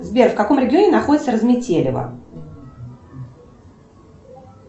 сбер в каком регионе находится разметелево